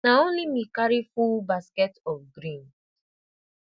na only me carry full basket of green